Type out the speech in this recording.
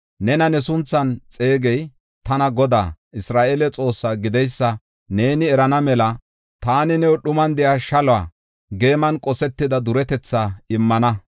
Nena ne sunthan xeegey tana Godaa, Isra7eele Xoossaa gideysa neeni erana mela taani new dhuman de7iya shaluwa, geeman qosetida duretetha immana.